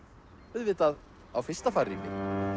auðvitað á fyrsta farrými